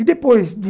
E depois de...